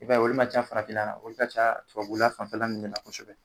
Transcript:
I b'a ye olu ma can farafinna olu ka ca tubabula fanfɛla munnu na kosɛbɛ